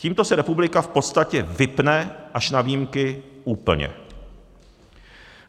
Tímto se republika v podstatě vypne až na výjimky úplně.